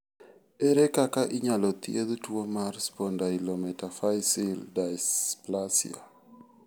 Ere kaka inyalo thiedh tuwo mar spondylometaphyseal dysplasia?